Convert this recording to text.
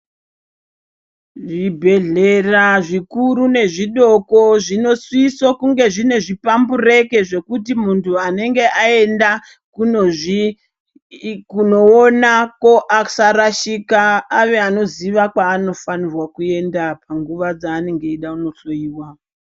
Zvibhedhlera zvikuru nezvidoko zvinosiso kunge zvine zviphambureke zvekuti muntu anenge aenda, kunozvii kunoonako asarashikwa, ave anoziva kwaanofanirwa kuenda panguva dzeanonga eida kunohloiwa.